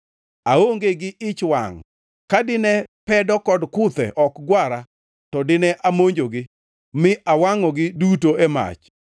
Aonge gi ich wangʼ. Ka dine pedo kod kuthe ok gwara, to dine amonjogi; mi awangʼogi duto e mach.